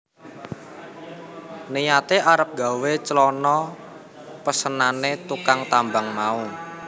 Niyate arep gawé clana pesenane tukang tambang mau